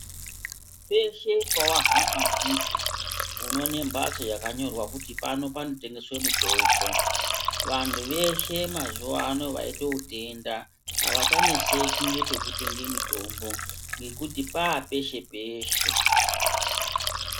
Peshe pewahamba ndipo unoone mhatso yakanyorwa kuti pano panotengeswe mutombo. Vantu veshe mazuva ano vaite utenda avachaneseki nekutenge mitombo ngekuti papeshe-peshe.